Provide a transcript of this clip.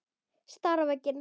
Stari á veginn.